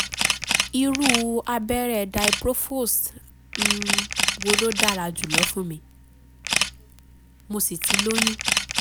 irú abẹ́rẹ́ diprofos um wo ló dára jùlọ fún mi? um mo um sì ti lóyún